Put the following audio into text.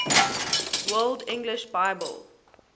world english bible